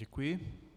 Děkuji.